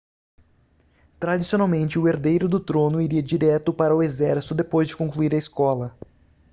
tradicionalmente o herdeiro do trono iria direto para o exército depois de concluir a escola